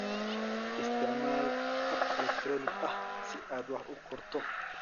Isticmaal hab elektaroonig ah si aad wax u qorto.